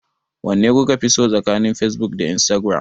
Wanne kuka fi so tsakanin Facebook da Instagram?